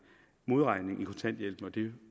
modregning i kontanthjælpen